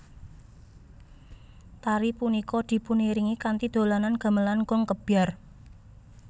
Tari punika dipuniringi kanthi dolanan gamelan gong kebyar